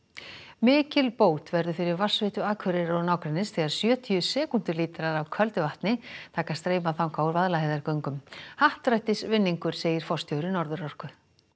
mikil bót verður fyrir vatnsveituna á Akureyri og nágrenni þegar sjötíu sekúndulítrar af köldu vatni taka að streyma þangað úr Vaðlaheiðargöngum happdrættisvinningur segir forstjóri Norðurorku